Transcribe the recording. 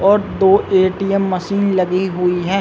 और दो ATM machine लगी हुई हैं ।